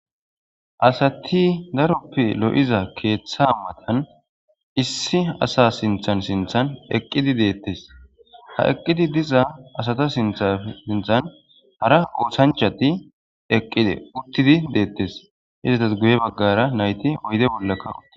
Asati daroppe lo7iza keeththa matan issi asa sinthan sinthan eqqidi deettes. Ha eqqidi diza asata sintha sinthan hara oothanchati eqqide uttidi deettes. Izatas guye baggara nayti oyde bollaka uttida